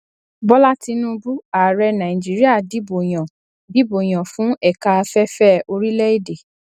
bola tinubu ààrẹ nàìjíríà dìbò yàn dìbò yàn fún ẹka afẹfẹ orílẹ èdè